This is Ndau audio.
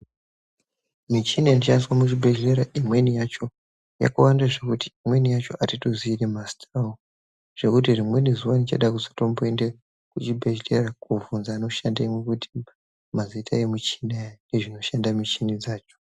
Michini inoshandiswa muchibhedhlera yakawanda zvekuti imweni yacho atitoziyi ngemazita zvekuti rimweni zuva ndichada kuzotomboendeyo kuchibhedhlera kunovhunza vanoshandemo mazita nezvinoshande michini dzacho.